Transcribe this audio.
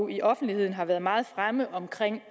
i offentligheden har været meget fremme